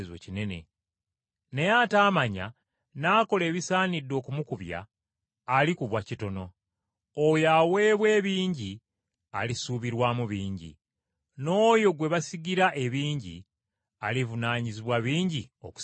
Naye ataamanya n’akola ebisaanidde okumukubya alikubwa kitono. Oyo aweebwa ebingi alisuubirwamu bingi, n’oyo gwe basigira ebingi, alivunaanyizibwa bingi okusingawo.